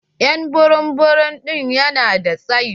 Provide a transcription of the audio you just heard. Ƴ'an burum burum ɗin ya na da tsayi.